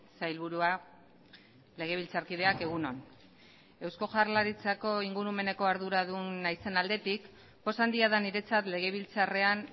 sailburua legebiltzarkideak egun on eusko jaurlaritzako ingurumeneko arduradun naizen aldetik poz handia da niretzat legebiltzarrean